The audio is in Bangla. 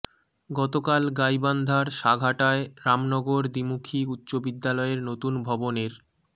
গতকাল গাইবান্ধার সাঘাটায় রামনগর দ্বিমুখী উচ্চ বিদ্যালয়ের নতুন ভবনের